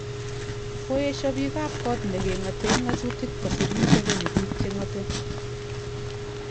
Koyesho bik kap kot nekingoten ngotutik kosir Museveni bik chengote.